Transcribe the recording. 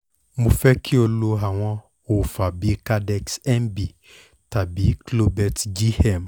mo fẹ́ kí o lo àwọn òòfà bíi candex-nb tàbí clobelt-gm